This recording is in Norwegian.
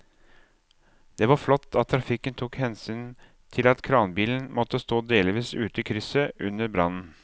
Det var flott at trafikken tok hensyn til at kranbilen måtte stå delvis ute i krysset under brannen.